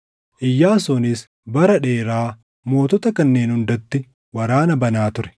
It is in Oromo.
Iyyaasuunis bara dheeraa mootota kanneen hundatti waraana banaa ture.